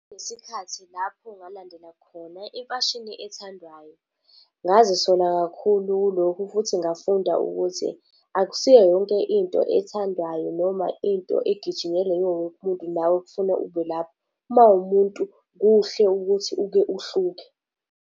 Ngesikhathi lapho ngalandela khona imfashini ethandwayo, ngazisola kakhulu kulokhu futhi ngafunda ukuthi, akusiyo yonke into ethandwayo noma into egijinyelwa iwowonke umuntu, nawe kufuna ubelapho. Mawumuntu kuhle ukuthi uke uhluke.